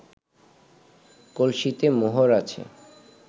কলসিতে মোহর আছে